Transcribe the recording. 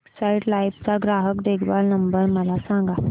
Exide life चा ग्राहक देखभाल नंबर मला सांगा